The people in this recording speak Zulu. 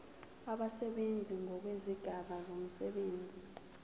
abasebenzi ngokwezigaba zomsebenzi